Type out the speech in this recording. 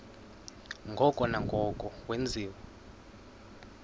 ngoko nangoko wenziwa